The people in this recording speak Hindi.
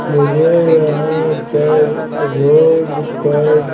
मुझे यहां पर रोड पर--